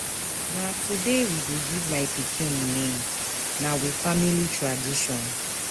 Na today we go give my pikin name, na we family tradition.